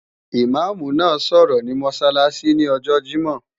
Ìmáàmù máa sọ̀rọ̀ ní Mọ́sálásí ní ọjọ Jímọ̀.